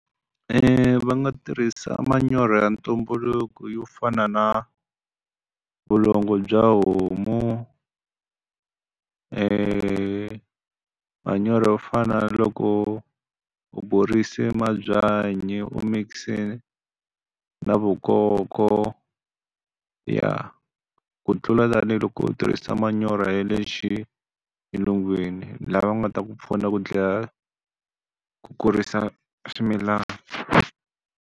Va nga tirhisa manyoro ya ntumbuluko yo fana na vulongo bya homu, manyoro yo fana na loko u borise mabyanyi u mix-e na vukoko. Ya, ku tlula tanihiloko u tirhisa manyoro ya le xilungwini lama nga ta ku pfuna ku dlaya ku kurisa swimilana.